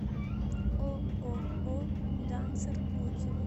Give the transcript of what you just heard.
ооо данцер отзывы